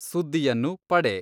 ಸುದ್ದಿಯನ್ನು ಪಡೆ.